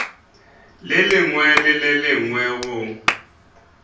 lengwe le le lengwe go